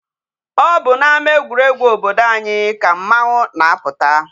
O bu n'ama egwueregwu obodo anyi ka mmanwu na-aputa.